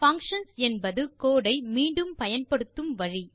functions என்பது code ஐ மீண்டும் பயன்படுத்தும் வழி